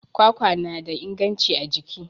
kwakwa na da inganci a jiki